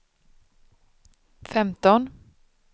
femton